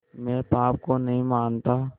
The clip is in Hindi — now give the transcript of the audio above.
मैं पाप को नहीं मानता